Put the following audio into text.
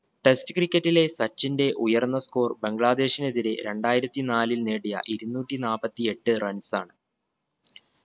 test cricket ലെ സച്ചിന്റെ ഉയർന്ന score ബംഗ്ലാദേശിനെതിരെ രണ്ടായിരത്തി നാലിൽ നേടിയ ഇരുനൂറ്റി നാപ്പത്തി എട്ട് runs ആണ്